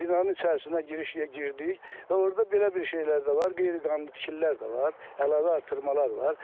Binanın içərisinə giriş girdik və orda belə bir şeylər də var, qeyri-qanuni tikililər də var, əlavə artırmalar var.